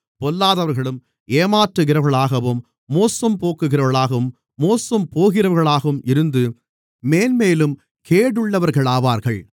பொல்லாதவர்களும் ஏமாற்றுகிறவர்களாகவும் மோசம்போக்குகிறவர்களாகவும் மோசம்போகிறவர்களாகவும் இருந்து மேன்மேலும் கேடுள்ளவர்களாவார்கள்